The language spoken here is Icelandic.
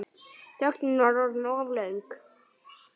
Þögnin var orðin of löng.